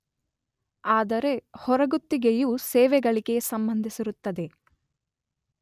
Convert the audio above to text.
ಆದರೆ ಹೊರಗುತ್ತಿಗೆಯು ಸೇವೆಗಳಿಗೆ ಸಂಬಂಧಿಸಿರುತ್ತದೆ.